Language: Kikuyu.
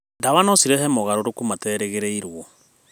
Ndawa no cirehe mogarũrũku materĩgĩrĩirwo.